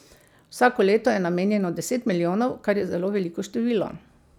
Vsako leto je namenjeno deset milijonov, kar je zelo veliko število.